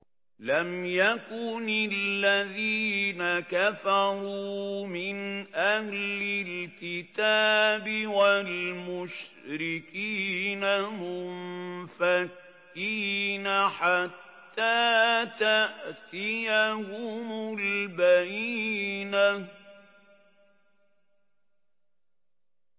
لَمْ يَكُنِ الَّذِينَ كَفَرُوا مِنْ أَهْلِ الْكِتَابِ وَالْمُشْرِكِينَ مُنفَكِّينَ حَتَّىٰ تَأْتِيَهُمُ الْبَيِّنَةُ